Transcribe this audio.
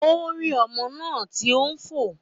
Ó rí ọmọ náà tí ó fò